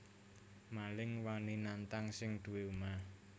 Maling wani nantang sing duwé omah